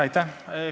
Aitäh!